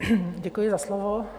Děkuji za slovo.